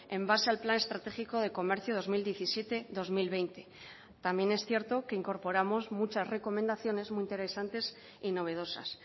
en base al plan estratégico de comercio dos mil diecisiete dos mil veinte también es cierto que incorporamos muchas recomendaciones muy interesantes y novedosas